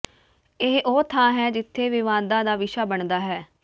ਇਹ ਉਹ ਥਾਂ ਹੈ ਜਿੱਥੇ ਵਿਵਾਦਾਂ ਦਾ ਵਿਸ਼ਾ ਬਣਦਾ ਹੈ